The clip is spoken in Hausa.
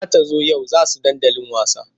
Za ta zo yau za he dandali wasa.